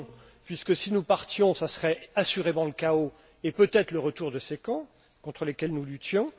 Non, puisque si nous partions, ce serait assurément le chaos, et peut être le retour de ces camps contre lesquels nous luttions.